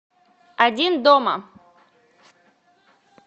один дома